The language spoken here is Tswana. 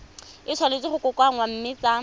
tshwanetse go kokoanngwa mme tsa